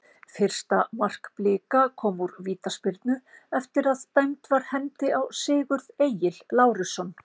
Fyrsta mark Blika kom úr vítaspyrnu eftir að dæmd var hendi á Sigurð Egil Lárusson.